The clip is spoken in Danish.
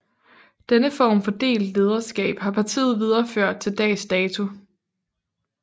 Denne form for delt lederskab har partiet videreført til dags dato